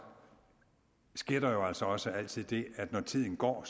sker der jo altså også altid det at når tiden går